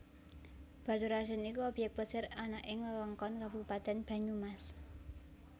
Baturradèn iku obyèk plesir ana ing Wewengkon Kabupatén Banyumas